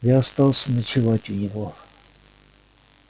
я остался ночевать у него